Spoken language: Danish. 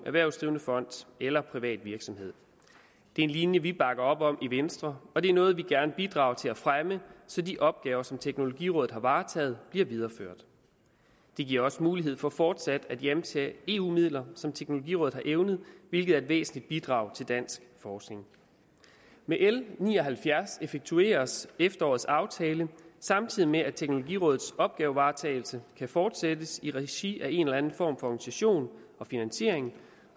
erhvervsdrivende fond eller privat virksomhed det er en linje vi bakker op om i venstre og det er noget vi gerne bidrager til at fremme så de opgaver som teknologirådet har varetaget bliver videreført det giver også mulighed for fortsat at hjemtage eu midler som teknologirådet har evnet hvilket er et væsentligt bidrag til dansk forskning med l ni og halvfjerds effektueres efterårets aftale samtidig med at teknologirådets opgavevaretagelse kan fortsættes i regi af en eller anden form for organisation og finansiering